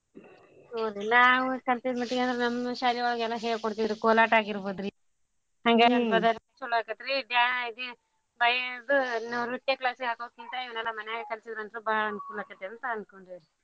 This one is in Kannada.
ಹ್ಮ್ ನ್ರಿ ನಾವು ಕಲ್ತಿದ್ ಮಟ್ಟಿಗಂದ್ರ ನಮ್ ಶಾಲಿಯೊಳಗ ಎಲ್ಲಾ ಹೇಳ್ಕೊಡ್ತಿದ್ರು ಕೋಲಾಟ ಆಗಿರ್ಬೋದ್ರಿ ಚೊಲೋ ಆಕತ್ರೀ ಬ್ಯಾ~ ಇದು ಇದು ನೃತ್ಯಾ class ಗ್ ಹಾಕೋದ್ಕಿಂತಾ ಇವ್ನ್ಯಲ್ಲಾ ಮನ್ಯಾಗಾ ಕಲ್ಸೀದ್ರಂತ್ರೂ ಬಾಳ್ ಅನ್ಕೂಲ್ ಆಕ್ಕತಂತ ಅನ್ಕೊಂಡೇವ್ರಿ.